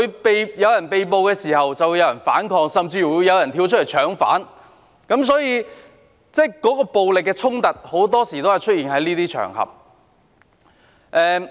當有人被捕時，就會有人反抗，甚至會有人"搶犯"，所以暴力衝突很多時會在這些場合出現。